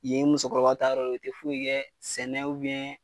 Yen ye musokɔrɔbaw taa yɔrɔ de ye. U te foyi kɛ sɛnɛ